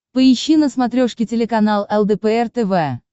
поищи на смотрешке телеканал лдпр тв